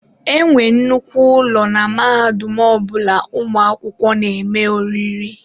E nwere nnukwu ụlọ na mahadum ọ bụla ụmụ akwụkwọ na-eme oriri.